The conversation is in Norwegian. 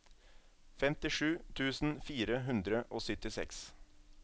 femtisju tusen fire hundre og syttiseks